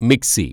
mixie